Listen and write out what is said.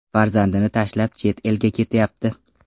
Farzandini tashlab chet elga ketyapti.